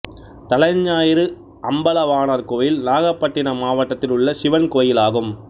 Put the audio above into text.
தலைஞாயிறு அம்பலவாணர் கோயில் நாகப்பட்டினம் மாவட்டத்தில் உள்ள சிவன் கோயிலாகும்